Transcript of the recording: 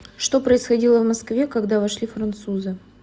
что происходило в москве когда вошли французы